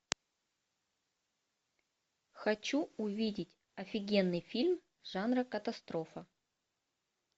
хочу увидеть офигенный фильм жанра катастрофа